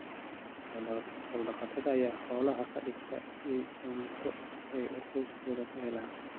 Xoolo-dhaqatada ayaa xoolaha ka dhigta il cunto oo ay qoysaskooda ka helaan.